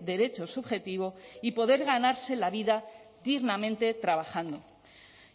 derecho subjetivo y poder ganarse la vida dignamente trabajando